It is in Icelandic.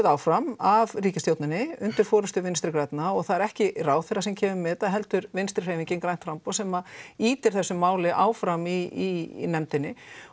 áfram af ríkisstjórninni undir forystu Vinstri grænna það er ekki ráðherra sem kemur með þetta heldur Vinstri hreyfingin grænt framboð sem ýtir þessu máli áfram í nefndinni